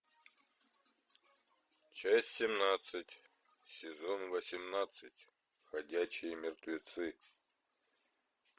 часть семнадцать сезон восемнадцать ходячие мертвецы